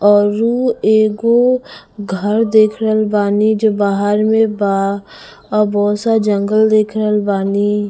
और उ एगो घर देख रहल बानी जो बाहर में बा और बहुत सारा जंगल देख रहल बानी--